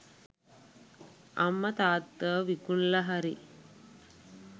අම්ම තාත්තව විකුනලා හරි